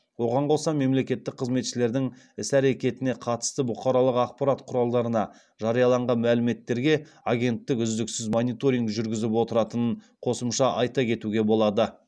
оған қоса мемлекеттік қызметшілердің іс әрекетіне қатысты бұқаралық ақпарат құралдарына жарияланған мәліметтерге агенттік үздіксіз мониторинг жүргізіп отыратынын қосымша айта кетуге болады